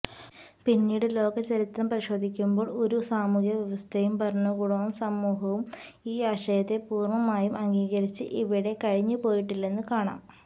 പിന്നീട് ലോകചരിത്രം പരിശോധിക്കുമ്പോള് ഒരു സാമൂഹിക വ്യവസ്ഥയും ഭരണകൂടവും സമൂഹവും ഈ ആശയത്തെ പൂര്ണമായും അഗീകരിച്ച് ഇവിടെ കഴിഞ്ഞുപോയിട്ടില്ലെന്നു കാണാം